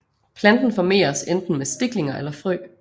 Planten formeres enten med stiklinger eller frø